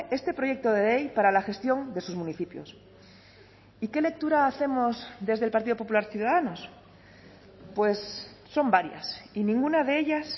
supone este proyecto de ley para la gestión de sus y qué lectura hacemos desde el partido popular ciudadanos pues son varias y ninguna de ellas